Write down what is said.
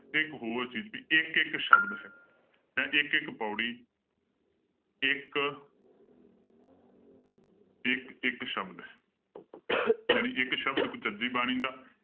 ਇੱਕ ਹੋਰ ਚੀਜ਼ ਕਿ ਇੱਕ ਇੱਕ ਸ਼ਬਦ ਹੈ ਹੈਂ ਇੱਕ ਇੱਕ ਪਾਉੜੀ ਇੱਕ ਇੱਕ ਇੱਕ ਸ਼ਬਦ ਹੈ ਜਾਣੀ ਇੱਕ ਸ਼ਬਦ ਕੁਚਜੀ ਬਾਣੀ ਦਾ